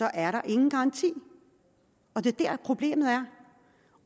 er der ingen garanti det er der problemet er